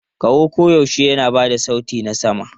Kaho koyaushe yana ba da sauti na sama.